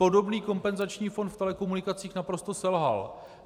Podobný kompenzační fond v telekomunikacích naprosto selhal.